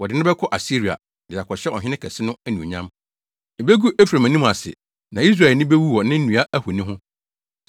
Wɔde no bɛkɔ Asiria, de akɔhyɛ ɔhene kɛse no anuonyam. Ebegu Efraim anim ase; na Israel ani bewu wɔ ne nnua ahoni ho.